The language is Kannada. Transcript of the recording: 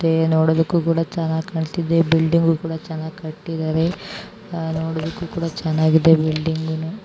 ನೋಡಕ್ಕೂ ಕೂಡ ಚೆನ್ನಾಗಿದೆ ಚೆನ್ನಾಗಿ ಕೂಡ ಕಟ್ಟಿದರೆ. ಕಟ್ಟಿದ್ದಾರೆ ನೋಡುಕು ತುಂಬಾ ಚೆನ್ನಾಗಿದೆ ಬಿಲ್ಡಿಂಗ್ .